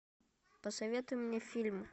посоветуй мне фильм